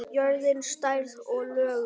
Jörðin, stærð og lögun